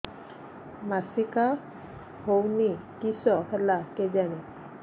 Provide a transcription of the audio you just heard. ମାସିକା ହଉନି କିଶ ହେଲା କେଜାଣି